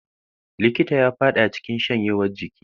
Likitan ya fada cikin shanyewar jiki.